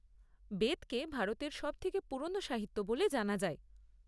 বেদকে ভারতের সবথেকে পুরনো সাহিত্য বলে জানা যায়।